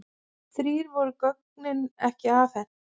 Því voru gögnin ekki afhent.